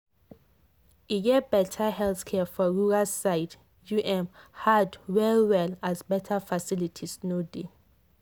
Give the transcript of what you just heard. to get better health care for rural side um hard well well as better facilities no dey.